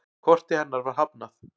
Korti hennar var hafnað.